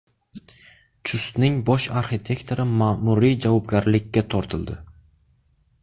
Chustning bosh arxitektori ma’muriy javobgarlikka tortildi.